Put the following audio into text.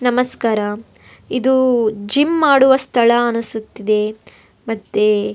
ನಮಸ್ಕಾರ ಇದು ಜಿಮ್ಮ್ ಮಾಡುವ ಸ್ಥಳ ಅನ್ನಿಸ್ತಿದೆ ಮತ್ತೆ --